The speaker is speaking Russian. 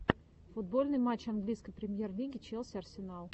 футбольный матч английской премьер лиги челси арсенал